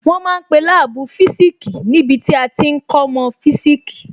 Wọ́n ma ń pe láàbù physics níbi tí a ti ń kọ́mọ́ physics